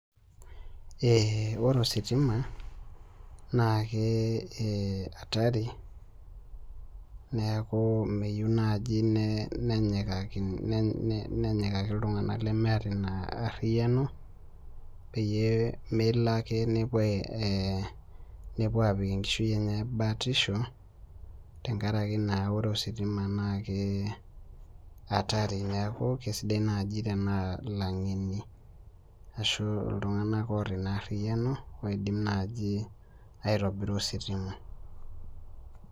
Ore ositima naa hatari neeku meyieu naai nenyikaki iltung'anak lemeeta ina arriyiano peyie melo ake nepuo aapik enkishui enyae batisho tenkaraki naa Ore ositima naa ke atari neeku sidai naai enaa ilang'eni ashu iltung'anak oota ina arriyiano oidim naaaji aitobira ositima.